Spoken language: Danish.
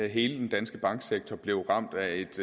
hele den danske banksektor blev ramt af et